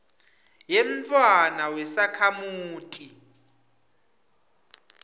yemntfwana wesakhamuti